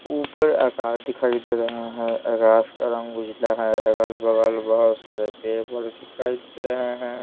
ऊपर आकाश दिखाई दे रहा है आकाश का रंग उजला है अगल-बगल बहुत सारे पेपर दिखाई दे रहे हैं।